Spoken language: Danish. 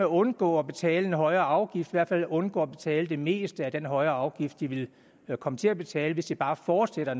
undgå at betale en højere afgift hvert fald undgå at betale det meste af den højere afgift de vil komme til at betale hvis de bare fortsætter